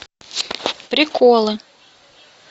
приколы